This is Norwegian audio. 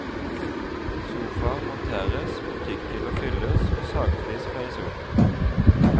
Sofaer monteres, butikkhyller fylles og sagflis feies opp.